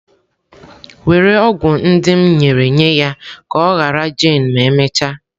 Were ọgwụ ndị m nyere nye ya ka ọ ghara jane ma emechaa.